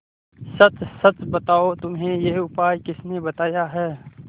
सच सच बताओ तुम्हें यह उपाय किसने बताया है